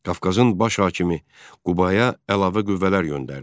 Qafqazın baş hakimi Qubaya əlavə qüvvələr göndərdi.